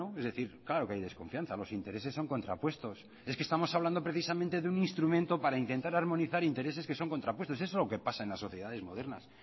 es decir claro que hay desconfianza los intereses son contrapuestos es que estamos hablando precisamente de un instrumento para intentar armonizar intereses que son contrapuestos eso es lo que pasa en las sociedades modernas